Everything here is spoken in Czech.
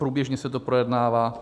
Průběžně se to projednává.